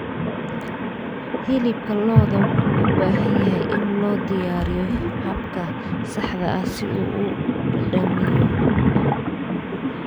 Hilibka lo'da wuxuu u baahan yahay in loo diyaariyo habka saxda ah si uu u dhadhamiyo.